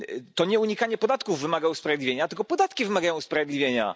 To nie unikanie podatków wymaga usprawiedliwienia, to podatki wymagają usprawiedliwienia.